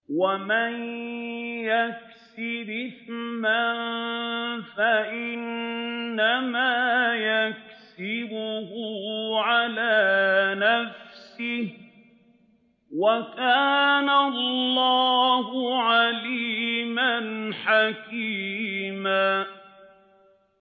وَمَن يَكْسِبْ إِثْمًا فَإِنَّمَا يَكْسِبُهُ عَلَىٰ نَفْسِهِ ۚ وَكَانَ اللَّهُ عَلِيمًا حَكِيمًا